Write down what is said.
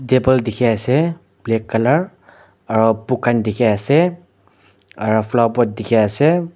table dikhiase black colour aro book khan dikhiase aro flower pot dikhiase.